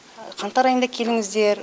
қаңтар айында келіңіздер